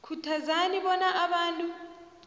khuthazeni bona abantu